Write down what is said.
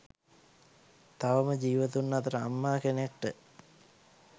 තවම ජීවතුන් අතර අම්මා කෙනෙක්ට